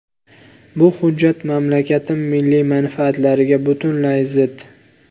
Bu hujjat mamlakatim milliy manfaatlariga butunlay zid.